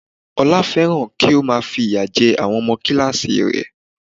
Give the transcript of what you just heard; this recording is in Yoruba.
Olá fẹ́ràn kí ó má a fìyà jẹ àwọn ọmọ kíláàsì rẹ̀